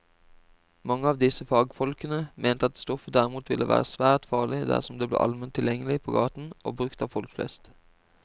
Mange av disse fagfolkene mente at stoffet derimot ville være svært farlig dersom det ble allment tilgjengelig på gaten og brukt av folk flest.